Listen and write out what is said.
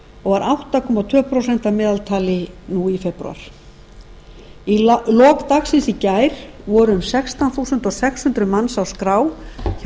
og var átta komma tvö prósent að meðaltali nú í febrúar í lok dagsins í gær voru um sextán þúsund sex hundruð manns á skrá hjá